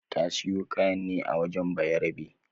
Ta siyo kayan ne a wajen bayarabe